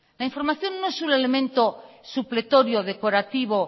la información no es un elemento supletorio decorativo